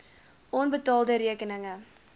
onbetaalde rekeninge